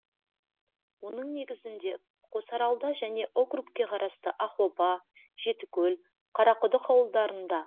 оның негізінде қосаралда және округке қарасты ақоба жетікөл қарақұдық ауылдарында